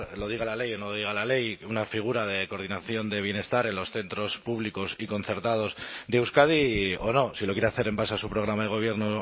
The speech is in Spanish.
lo diga la ley o no lo diga la ley una figura de coordinación de bienestar en los centros públicos y concertados de euskadi o no si lo quiere hacer en base a su programa de gobierno